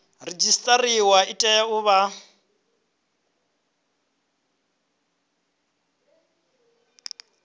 redzisiṱariwa i tea u vha